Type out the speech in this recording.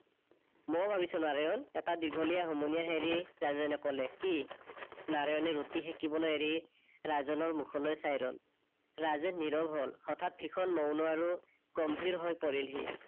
মইয়ো ভাবিছো নাৰায়ন, এটা দীঘলিয়া হুমোনিয়াহ এৰি ৰাজেনে কলে। কি? নাৰায়নে ৰুটি সেকিবলৈ এৰি ৰাজেনৰ মুখলৈ চাই ৰল। ৰাজেন নীৰৱ হল। হঠাৎ ভীষণ মৌন আৰু গম্ভীৰ হৈ পৰিল সি